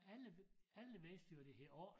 Alle alle vidste jo at det hed 8